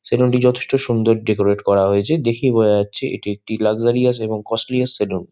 Salon -টি যথেষ্ট সুন্দর ডেকোরেট করা হয়েছে দেখেই বোঝা যাচ্ছে এটা একটি লাগজারিআস আছে এবং কস্টলিআর সেলুন ।